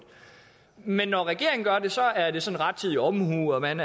men når regeringen gør det så er det sådan rettidig omhu man